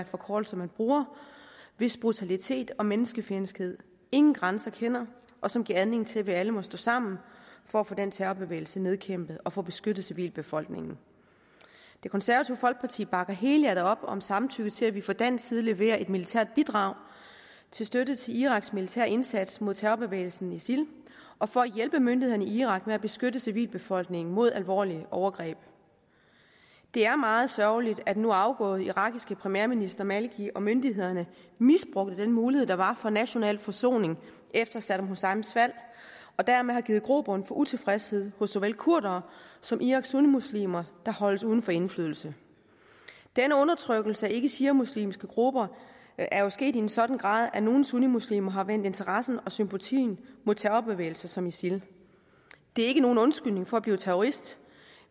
forkortelse man bruger hvis brutalitet og menneskefjendskhed ingen grænser kender og som giver anledning til at vi alle må stå sammen for at få den terrorbevægelse nedkæmpet og få beskyttet civilbefolkningen det konservative folkeparti bakker helhjertet op om samtykke til at vi fra dansk side leverer et militært bidrag til støtte til iraks militære indsats mod terrorbevægelsen isil og for at hjælpe myndighederne i irak med at beskytte civilbefolkningen mod alvorlige overgreb det er meget sørgeligt at den nu afgåede irakiske premierminister maliki og myndighederne misbrugte den mulighed der var for national forsoning efter saddam husseins fald og dermed har givet grobund for utilfredshed hos såvel kurdere som iraks sunnimuslimer der holdes uden for indflydelse denne undertrykkelse af ikkeshiamuslimske grupper er jo sket i en sådan grad at nogle sunnimuslimer har vendt interessen og sympatien mod terrorbevægelser som isil det er ikke nogen undskyldning for at blive terrorist